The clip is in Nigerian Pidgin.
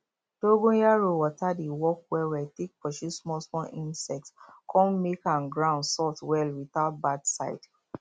dongoyaro water dey work well well take pursue small small insects con make um ground soft well without bad side